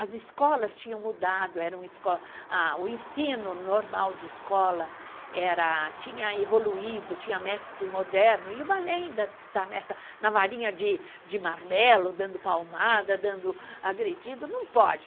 As escolas tinham mudado, eram escolas, o ensino normal de escola, era, tinha evoluído, tinha métodos modernos, e o balé ainda está na varinha de de marmelo, dando palmada, dando agredido, não pode.